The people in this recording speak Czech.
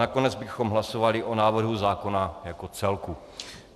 Nakonec bychom hlasovali o návrhu zákona jako celku.